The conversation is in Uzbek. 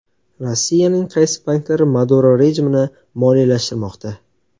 Rossiyaning qaysi banklari Maduro rejimini moliyalashtirmoqda?